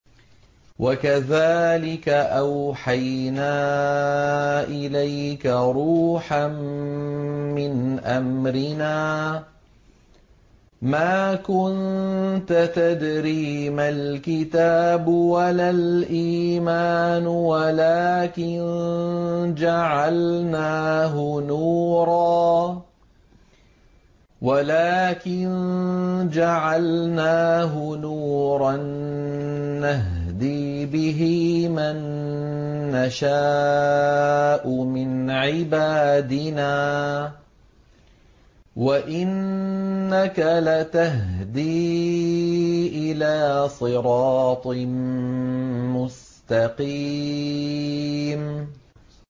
وَكَذَٰلِكَ أَوْحَيْنَا إِلَيْكَ رُوحًا مِّنْ أَمْرِنَا ۚ مَا كُنتَ تَدْرِي مَا الْكِتَابُ وَلَا الْإِيمَانُ وَلَٰكِن جَعَلْنَاهُ نُورًا نَّهْدِي بِهِ مَن نَّشَاءُ مِنْ عِبَادِنَا ۚ وَإِنَّكَ لَتَهْدِي إِلَىٰ صِرَاطٍ مُّسْتَقِيمٍ